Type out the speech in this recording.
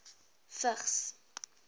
vigs